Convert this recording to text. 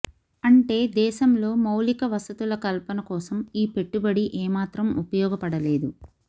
అంటే దేశంలో మౌలిక వసతుల కల్పన కోసం ఈ పెట్టుబడి ఏమాత్రం ఉపయోగపడలేదు